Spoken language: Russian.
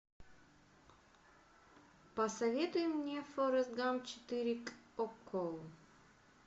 посоветуй мне форест гамп четыре окко